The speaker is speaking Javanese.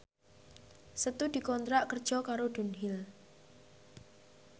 Setu dikontrak kerja karo Dunhill